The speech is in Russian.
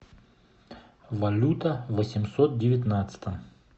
валюта восемьсот девятнадцатом